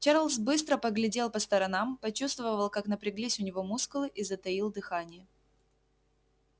чарлз быстро поглядел по сторонам почувствовал как напряглись у него мускулы и затаил дыхание